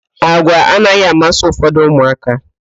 Àgwà anaghị amasị ụfọdụ ụmụaka.